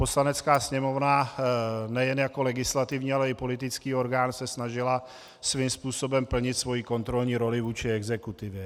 Poslanecká sněmovna nejen jako legislativní, ale i politický orgán se snažila svým způsobem plnit svoji kontrolní roli vůči exekutivě.